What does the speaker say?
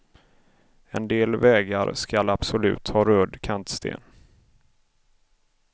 En del vägar skall absolut ha röd kantsten.